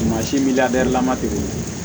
Mansin bi labɛnlama de